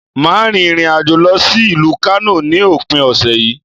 Màá rin ìrìnàjò lọ sí ìlú Kánò ní òpin òsè yí